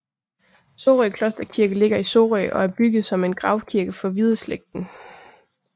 Sorø Klosterkirke ligger i Sorø og er bygget som en gravkirke for Hvideslægten